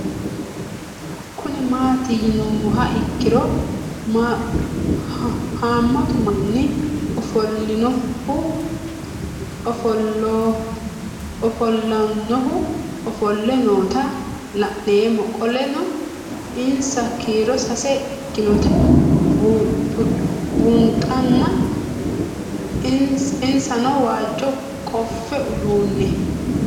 Kuni mati yinumoha ikiro hamatu manni ofolanohu ofoole noota la'nemo qoleno insa kiiro sase ikinotana bunxana insano waajo qofe udune